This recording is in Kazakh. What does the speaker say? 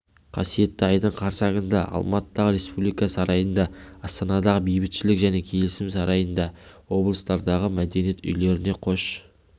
қасиетті айдың қарсаңында алматыдағы республика сарайында астанадағы бейбітшілік және келісім сарайында облыстардағы мәдениет үйлерінде қош